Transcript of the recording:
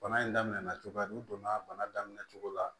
Bana in daminɛna cogoya n'u donna bana daminɛ cogo la